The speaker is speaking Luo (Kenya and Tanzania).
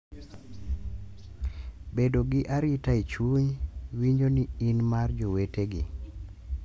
Bedo gi arita e chuny, winjo ni in mar jowetegi,